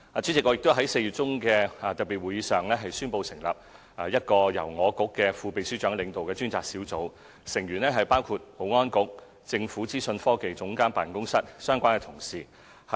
主席，我在4月中的特別會議上，宣布成立一個由我局副秘書長領導的專責小組，成員包括保安局和政府資訊科技總監辦公室的相關同事。